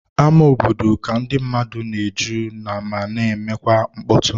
Ámá obodo ka ndị mmadụ na-eju ma na-emekwa mkpọtụ.